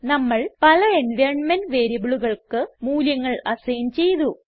നമ്മൾ പല എൻവൈറൻമെന്റ് വേരിയബിളുകൾക്ക് മൂല്യങ്ങൾ അസൈൻ ചെയ്തു